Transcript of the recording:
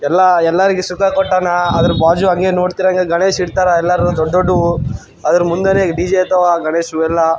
ಎಲ್ಲ ಎಲ್ಲಾರಿಗು ಸುಖ ಕೊಟ್ಟಾನ ಅದರ ಬಾಜು ಹಂಗೆ ನೋಡ್ತಿರೋ ಹಂಗೆ ಗಣೇಶ್ ಇಟ್ಟಾರ ಎಲ್ಲರು ದೊಡ್ಡ್ ದೊಡ್ಡ್ ವು ಅದ್ರ ಮುಂದೆನೆ ಈ ಡಿ.ಜೆ ತಾವ ಗಣೇಶು ಎಲ್ಲ --.